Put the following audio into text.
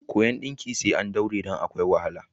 Koyon ɗinki sai an daure don akwai wahala.